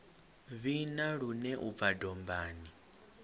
vhina lune u bva dombani